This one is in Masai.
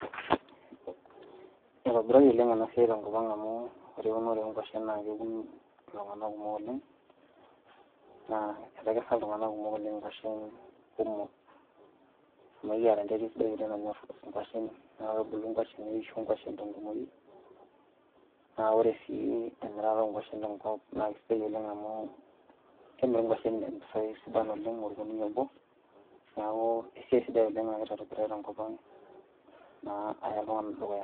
Eitobirari oleng' ena siai tenkopang' amuu ore eunore oonkuashin naakeun iltung'ana kumok oleng' naa etekesa iltung'ana kumok oleng' inkuashin kumok, amu kiata enterit sidai oleng' nanyorr inkuashin naakebulu nkuashin neisho nkuashin tenkumoi. Naa ore sii emirata oonkuashin tenkop naaisidai oleng amuu kemiri inkuashin impisai sidan oleng olkunia obo. Neakuu esiai sidai oleng' nagira aitobirari tenkopang naa aya iltung'ana dukuya.